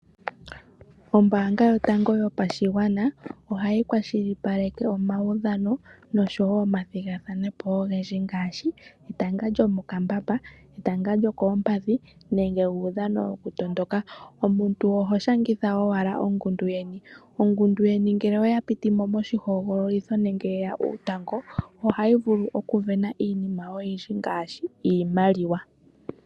Ombaanga yotango yopashigwana ohayi kwalishilipaleke omaudhano noshowo omathigathanepo wo ogendji ngaashi etanga lyomokambamba, etanga lyokoompadhi nenge uudhano wokutondoka. Omuntu oho shangitha owala ongundu yeni , ongundu yeni ngele oya pitimo moshihogololitho nenge yeya uutango ohayi vulu okuvena iinima oyindji ngaashi iimaliwa.